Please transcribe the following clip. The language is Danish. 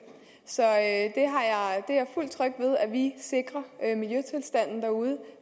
så at vi sikrer miljøtilstanden derude